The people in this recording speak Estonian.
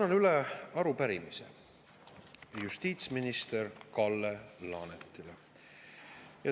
Annan üle arupärimise justiitsminister Kalle Laanetile.